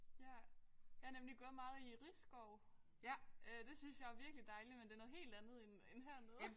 Ja. Jeg har nemlig gået meget i Risskov øh det synes jeg er virkelig dejligt men det er noget helt andet end end hernede